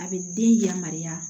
A bɛ den yamaruya